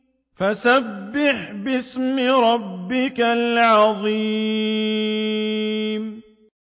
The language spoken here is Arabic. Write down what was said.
فَسَبِّحْ بِاسْمِ رَبِّكَ الْعَظِيمِ